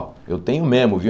Ó, eu tenho mesmo, viu?